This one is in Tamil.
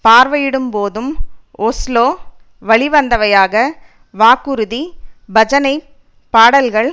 பார்வையிடும் போது ஒஸ்லோ வழிவந்தவையாக வாக்குறுதி பஜனைப் பாடல்கள்